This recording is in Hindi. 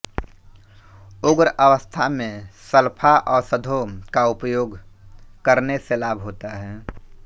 उग्र अवस्था में सल्फा औषधों का उपयोग करने से लाभ होता है